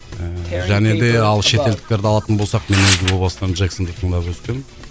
ііі және де ал шетелдіктерді алатын болсақ мен өзім о бастан джексонды тыңдап өскем